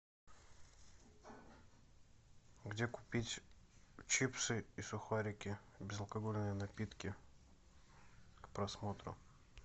где купить чипсы и сухарики безалкогольные напитки к просмотру